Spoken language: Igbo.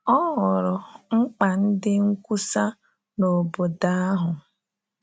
Ọ hụrụ mkpa ndị nkwusa n’obodo ahụ.